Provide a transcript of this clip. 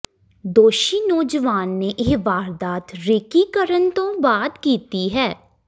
ਦੋਸ਼ੀ ਨੌਜਵਾਨ ਨੇ ਇਹ ਵਾਰਦਾਤ ਰੇਕੀ ਕਰਨ ਤੋਂ ਬਾਅਦ ਕੀਤੀ ਹੈ